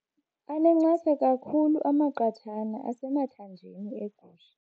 Anencasa kakhulu amaqathana asemathanjeni egusha.